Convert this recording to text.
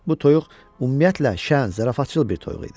Bu toyuq ümumiyyətlə şən, zarafatçıl bir toyuq idi.